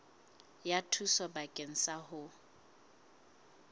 ya thuso bakeng sa ho